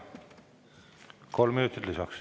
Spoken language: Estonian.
Kolm minutit lisaks.